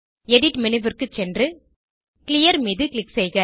edit menu க்கு சென்று clear மீது க்ளிக் செய்க